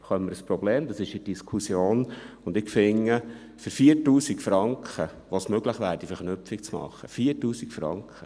Da kriegen wir ein Problem, dies ist in Diskussion, und ich finde, für 4000 Franken, mit denen es möglich wäre, diese Verknüpfung zu machen – 4000 Franken;